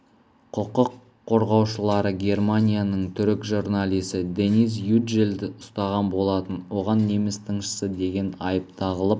құқық қорғаушылары германияның түрік журналисі дениз юджелді ұстаған болатын оған неміс тыңшысы деген айып тағылып